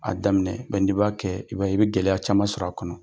A daminɛ bɛ n' b'a kɛ, i b'a ye, i bɛ gɛlɛya caman sɔrɔ a kɔnɔ.